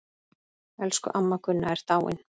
Elsku amma Gunna er dáin.